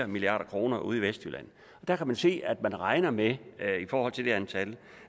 milliard kroner ude i vestjylland der kan man se at man regner med i forhold til antallet